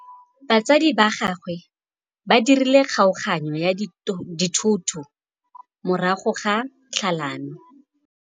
Batsadi ba gagwe ba dirile kgaoganyô ya dithoto morago ga tlhalanô.